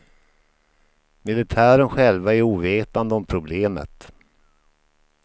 Militären själva är ovetande om problemet.